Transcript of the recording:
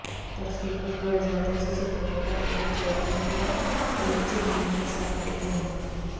तर सूरज बडजात्याच्या चित्रपटात त्याने चौथ्यांदा प्रेमची भूमिका साकारली आहे